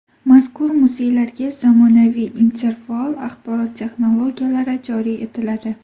Mazkur muzeylarga zamonaviy interfaol axborot-texnologiyalari joriy etiladi.